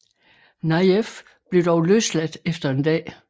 Nayef blev dog løsladt efter en dag